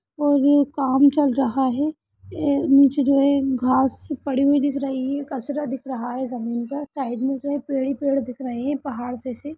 और ये काम चल रहा है ए नीचे जो है घास पड़ी हुई दिख रही है कचरा दिख रहा है जमीन पर साइड में जो है पेड़ ही पेड़ दिख रहे हैं पहाड़ जैसे।